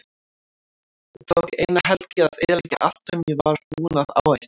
Það tók eina helgi að eyðileggja allt sem ég var búinn að áætla.